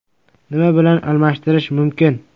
Nima bilan almashtirish mumkin?